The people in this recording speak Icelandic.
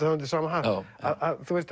það undir sama hatt að